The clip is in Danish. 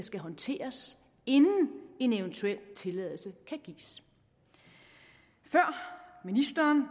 skal håndteres inden en eventuel tilladelse kan gives før ministeren